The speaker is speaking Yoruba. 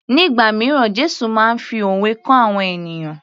Nígbà míràn Jésù máa ń fi òwe kọ́ àwọn ènìyàn